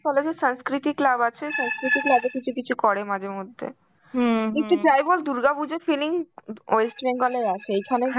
college এ সংস্কৃতি club আছে, সংস্কৃতি club এ কিছু কিছু করে মাঝেমধ্যে. কিন্তু যাই বল দুর্গা পুজোর feeling উম West Bengal এর আছে, এখানে